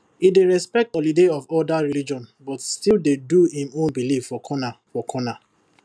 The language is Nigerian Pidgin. he dey respect holiday of other religion but still dey do him own belief for corner for corner